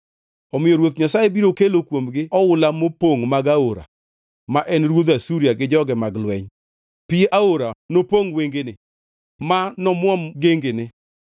Omiyo Ruoth Nyasaye biro kelo kuomgi oula mopongʼ mag Aora, ma en ruodh Asuria gi joge mag lweny. Pi Aora nopongʼ wengene ma nomuom gengene,